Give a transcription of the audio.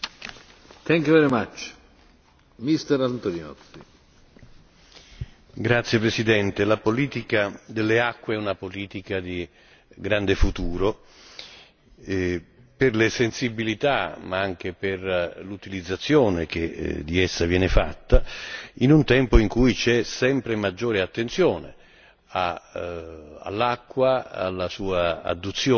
Signor Presidente, onorevoli colleghi, la politica delle acque è una politica di grande futuro per le sensibilità, ma anche per l'utilizzazione che di essa viene fatta, in un tempo in cui c'è sempre maggiore attenzione all'acqua, alla sua adduzione,